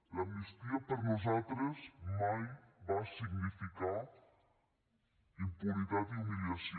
l’amnistia per nosaltres mai va significar impunitat i humiliació